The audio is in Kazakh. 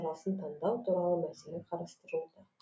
шарасын таңдау туралы мәселе қарастырылуда